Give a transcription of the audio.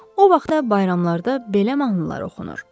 O vaxtda bayramlarda belə mahnılar oxunur.